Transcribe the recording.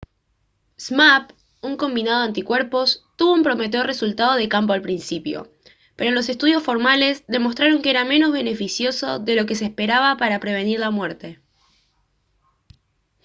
zmapp un combinado de anticuerpos tuvo un prometedor resultado de campo al principio pero estudios los formales demostraron que era menos beneficioso de lo que se esperaba para prevenir la muerte